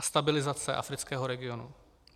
A stabilizace afrického regionu.